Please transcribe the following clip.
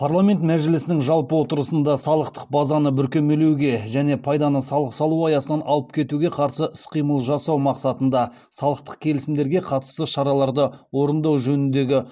парламент мәжілісінің жалпы отырысында салықтық базаны бүркемелеуге және пайданы салық салу аясынан алып кетуге қарсы іс қимыл жасау мақсатында салықтық келісімдерге қатысты шараларды орындау жөніндегі